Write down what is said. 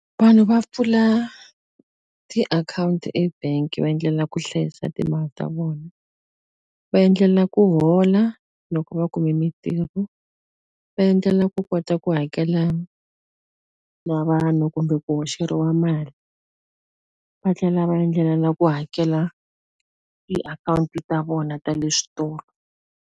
Vanhu va pfula tiakhawunti e-bank va endlela ku hlayisa timali ta vona. Va endlela ku hola loko va kume mintirho, va endlela u kota ku hakela na vanhu kumbe ku hoxeliwa mali. Va tlhela va endlela na ku hakela tiakhawunti ta vona ta le switolo.